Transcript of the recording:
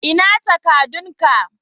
Ina takadun ka?